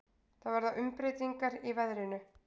Það verða umbreytingar í veðrinu.